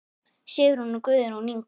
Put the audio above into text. Sigrún og Guðrún Inga.